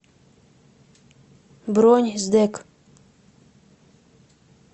бронь сдэк